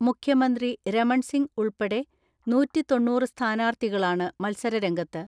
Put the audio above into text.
മുഖ്യമന്ത്രി രമൺസിംഗ് ഉൾപ്പെടെ നൂറ്റിതൊണ്ണൂറ് സ്ഥാനാർത്ഥികളാണ് മത്സര രംഗത്ത്.